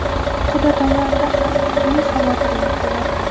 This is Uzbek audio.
Quda tomonda ham turli xavotirlar bo‘ladi.